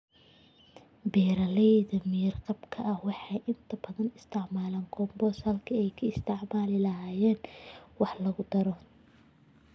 Beeralayda miyir-qabka ah waxay inta badan isticmaalaan compost halkii ay ka isticmaali lahaayeen wax lagu daro.